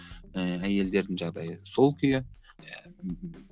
ііі әйелдердің жағдайы сол күйі иә мхм